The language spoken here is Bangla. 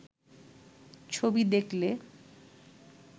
ছবি দেখলে